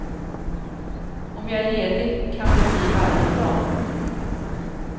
Om jag är ledig kan det bli varje dag.